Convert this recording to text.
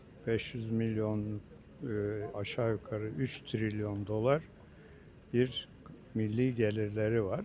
500 milyon, ııı, aşağı-yuxarı 3 trilyon dollar bir milli gəlirləri var.